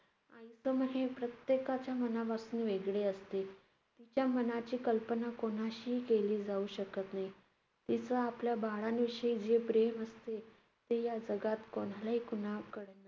मन हे प्रत्येकाच्या मनापासून वेगळे असते. तिच्या मनाची कल्पना कोणाशीही केली जाऊ शकत नाही. तिचा आपल्या बाळांविषयी जे प्रेम असते, ते या जगात कोणालाही~ कोणाकडे